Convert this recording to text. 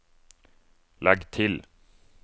legg til